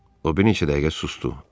O bir neçə dəqiqə susdu.